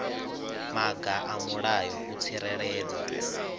maga a mulayo u tsireledza